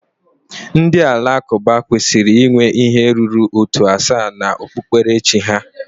Ndị Alakụba kwesịrị inwe ihe ruru ótù asaa na okpukperechi ha